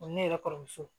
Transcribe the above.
ne yɛrɛ kɔrɔmuso